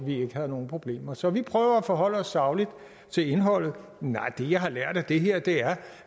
vi ikke havde nogen problemer så vi prøver at forholde os sagligt til indholdet det jeg har lært af det her er